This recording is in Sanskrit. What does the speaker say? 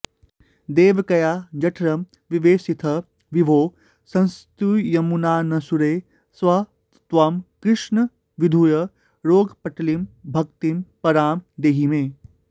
देवक्या जठरं विवेशिथ विभो संस्तूयमानस्सुरैः स त्वं कृष्ण विधूय रोगपटलीं भक्तिं परां देहि मे